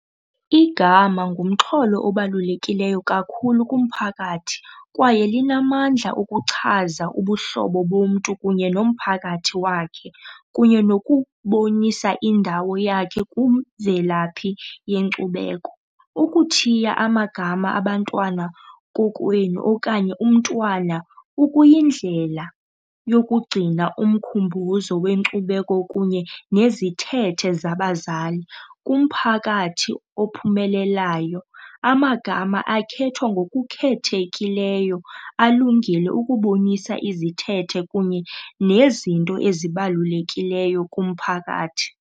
Igama ngumxholo obalulekileyo kakhulu kumphakathi kwaye linamandla ukuchaza ubuhlobo bomntu kunye nomphakathi wakhe kunye nokubonisa indawo yakhe kwimvelaphi yenkcubeko. Ukuthiya amagama abantwana kokwenu okanye umntwana kukuyindlela yokugcina umkhumbuzo wenkcubeko kunye nezithethe zabazali. Kumphakathi ophumelelayo, amagama akhethwa ngokukhethekileyo alungile ukubonisa izithethe kunye nezinto ezibalulekileyo kumphakathi.